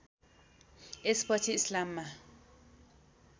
यस पछि इस्लाममा